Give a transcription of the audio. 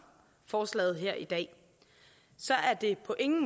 forslaget her i dag er det på ingen